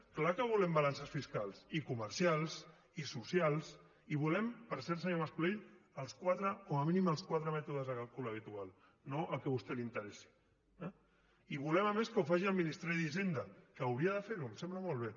és clar que volem balances fiscals i comercials i socials i volem per cert senyor mas colell com a mínim els quatre mètodes de càlcul habitual no el que a vostè li interessi eh i volem a més que ho faci el ministeri d’hisenda que hauria de fer ho em sembla molt bé